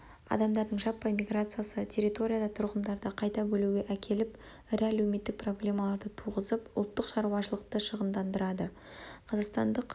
адамдардың жаппай миграциясы территорияда тұрғындарды қайта бөлуге әкеліп ірі әлеуметтік проблемаларды туғызып ұлттық шаруашылықты шығындандырады қазақстандық